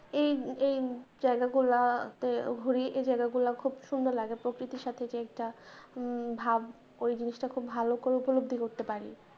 এই এই জায়গাগুলা তে ঘুরি এই জায়গাগুলা ঘুব সুন্দর লাগে প্রকৃতির সাথে যে একটা ভাব ঐ জিনিসটা খুব ভালো করে উপলব্ধি করতে পারি।